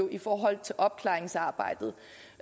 i forhold til opklaringsarbejdet